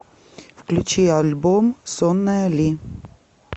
включи альбом сонная ли